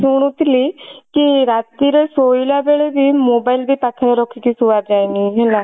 ଶୁଣୁଥିଲି କି ରାତିରେ ଶୋଇଲା ବେଳେ ବି mobile ବି ପାଖରେ ରଖିକି ଶୁଆଯାଏନି ହେଲା